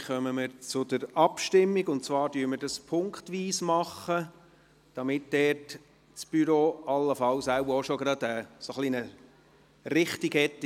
Wir kommen zur Abstimmung, und zwar gehen wir punktweise vor, damit das Büro allenfalls eine Richtung hat.